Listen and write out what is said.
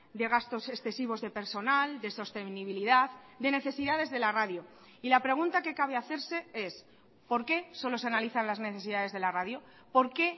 de gastos excesivos de personal de sostenibilidad de necesidades de la radio y la pregunta que cabe hacerse es por qué solo se analizan las necesidades de la radio por qué